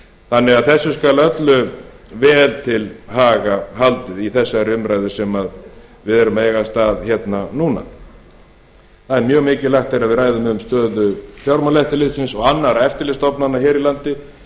þannig að þessu skal öllu vel til haga haldið í þessari umræðu sem við erum að eiga stað hérna núna það er mjög mikilvægt þegar við ræðum um stöðu fjármálaeftirlitsins og annarra eftirlitsstofnana hér á landi